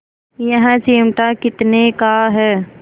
यह चिमटा कितने का है